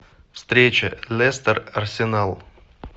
встреча лестер арсенал